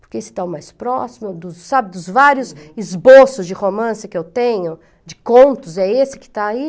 Porque esse está o mais próximo dos, sabe, dos vários esboços de romance que eu tenho, de contos, é esse que está aí.